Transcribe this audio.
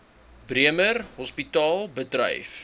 bremer hospitaal bedryf